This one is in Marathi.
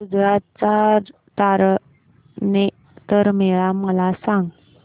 गुजरात चा तारनेतर मेळा मला सांग